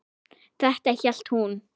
Þetta hélt hún.